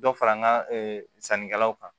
Dɔ fara n ka sannikɛlaw kan